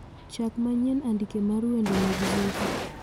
Chak manyien andike mar wende mag zuchu